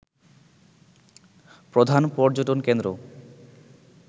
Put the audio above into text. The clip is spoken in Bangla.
প্রধান পর্যটনকেন্দ্র